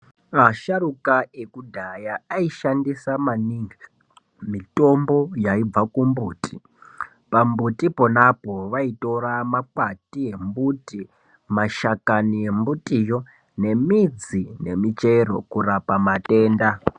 Vasharuka vlekudhaya aishandisa maningi mitombo yaibva kumbuti. Pambuti ponapo vaitora makwati embuti, mashakani embutiyo nemidzi nemichero kurapa matenda.